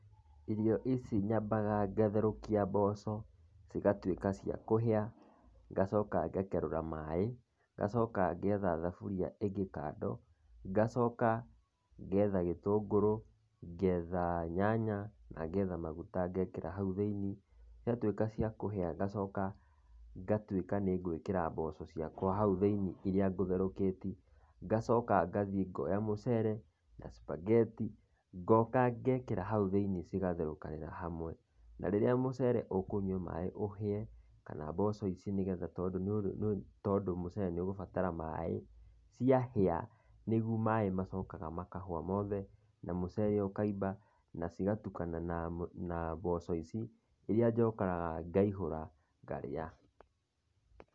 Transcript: Irio ici nyambaga ngatherũkia mboco, cigatuĩka cia kũhĩa, ngacoka ngakerũra maĩ, ngacoka ngetha thaburia ĩngĩ kando, ngacoka ngetha gĩtũngũrũ, ngetha nyanya na ngetha maguta ngekĩra hau thĩini, ciatuĩka cia kũhĩa ngacoka ngatuĩka nĩ ngũikĩra mboco ciakwa hau thĩini iria ngũtherũkĩti, ngacoka ngathiĩ ngoya mũcere, na spaghetti ngoka ngekĩra hau thĩini cigatherũkanĩra hamwe, na rĩrĩa mũcere ũkũnyua maĩ ũhĩe, kana mboco ici nĩgetha tondũ mũcere nĩ ũgũbatara maĩ, ciahĩa, nĩguo maĩ macokaga makahũa mothe na mũcere ũkaimba, na cigatukana na na mboco ici iria njokaga ngaihũra ngarĩa.